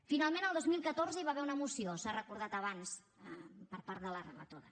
finalment el dos mil catorze hi va haver una moció s’ha recordat abans per part de la relatora